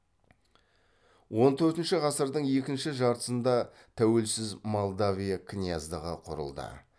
он төртінші ғасырдың екінші жартысында тәуелсіз молдавия князьдығы құрылды